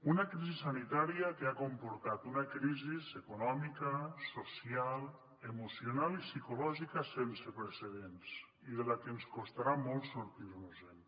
una crisi sanitària que ha comportat una crisi econòmica social emocional i psicològica sense precedents i de la que ens costarà molt sortir nos en